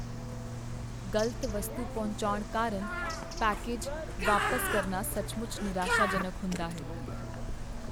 ਗ਼ਲਤ ਵਸਤੂ ਪਹੁੰਚਾਉਣ ਕਾਰਨ ਪੈਕੇਜ ਵਾਪਸ ਕਰਨਾ ਸੱਚਮੁੱਚ ਨਿਰਾਸ਼ਾਜਨਕ ਹੁੰਦਾ ਹੈ।